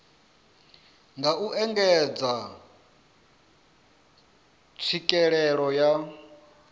nga u engedza tswikelelo ya